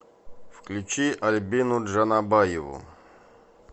включи альбину джанабаеву